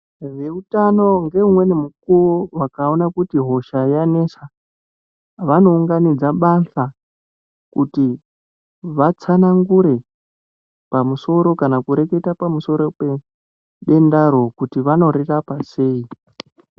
Vehutano ngeumweni mukuwo vakaona kuti hosha iyani Yanesa vanounganidza basa kuti vatsanangure pamusoro kana kureketa Pamusoro pedendaro kuti vanorirapa sei.